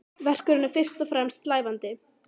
Verkunin er fyrst og fremst slævandi.